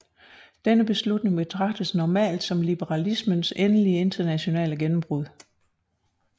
Denne beslutning betragtes normalt som liberalismens endelige internationale gennembrud